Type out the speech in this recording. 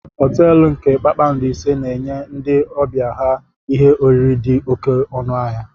Họteelu nke kpakpando ise na-enye ndị ọbịa ha ihe oriri dị oké ọnụ ahịa.